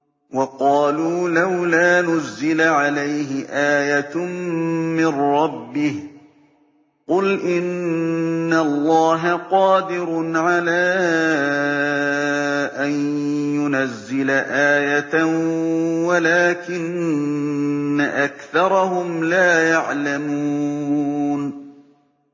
وَقَالُوا لَوْلَا نُزِّلَ عَلَيْهِ آيَةٌ مِّن رَّبِّهِ ۚ قُلْ إِنَّ اللَّهَ قَادِرٌ عَلَىٰ أَن يُنَزِّلَ آيَةً وَلَٰكِنَّ أَكْثَرَهُمْ لَا يَعْلَمُونَ